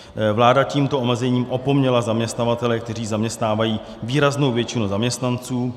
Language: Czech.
Vláda tímto omezením opomněla zaměstnavatele, kteří zaměstnávají výraznou většinu zaměstnanců.